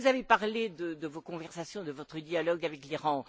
Vous avez parlé de vos conversations, de votre dialogue avec l'Iran.